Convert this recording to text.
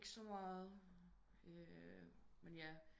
Ikke så meget men ja